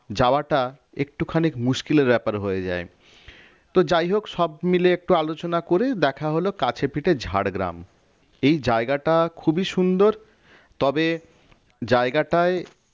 যাওয়াটা একটুখানি মুশকিলের ব্যাপার হয়ে যায় তো যাই হোক সব মিলে একটু আলোচনা করে দেখা হল কাছে পিঠে ঝাড়গ্রাম এই জায়গাটা খুবই সুন্দর তবে জায়গাটায়